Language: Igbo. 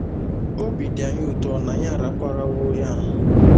Obi dị anyị ụtọ na anyị araparawo ya